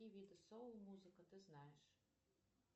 какие виды соу музыка ты знаешь